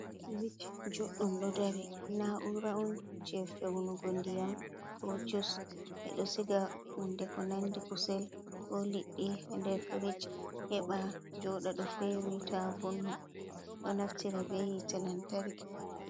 Frich juɗɗum ɗo dari na'ura on je fewnugo ndiyam ko jus e ɓeɗo siga hunde ko nandi kusel ko liɗɗi nder frich heɓa joɗa ɗo fewi tavonna ɗo naftira be hitte lantarki.